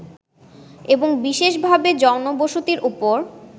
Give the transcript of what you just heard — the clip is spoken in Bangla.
এবং বিশেষভাবে জনবসতির ওপর